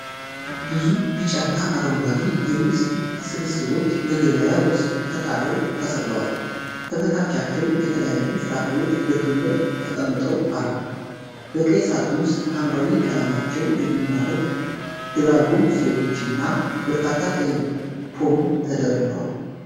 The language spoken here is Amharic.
ብዙ ቢጫና አረንጓዴ የሙዝ ስብስቦች በገበያ ውስጥ ከጣሪያው ተሰቅለዋል። ከበታቻቸው የተለያዩ ፍራፍሬዎች በክምር ተቀምጠው አሉ። በቀይ ሳጥን ውስጥ ሐምራዊ ቀለማቸው የሚማርክ ድራጎን ፍሬዎች እና በርካታ ቀይ ፖም ተደርድረዋል።